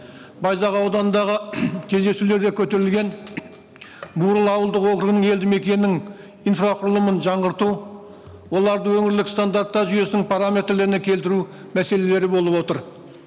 байзақ ауданындағы кездесулерде көтерілген бұрыл ауылдық округінің елді мекенінің инфрақұрылымын жаңғырту оларды өңірлік стандартта жүйесінің параметрлеріне келтіру мәселелері болып отыр